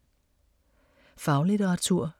Faglitteratur